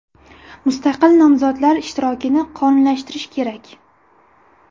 Mustaqil nomzodlar ishtirokini qonuniylashtirish kerak”.